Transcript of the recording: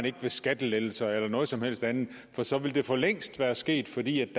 ikke ved skattelettelser eller noget som helst andet for så ville det forlængst være sket fordi